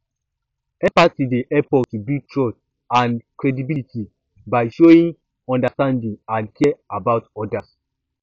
empathy dey help us to build trust and credibility by showing understanding and care about odas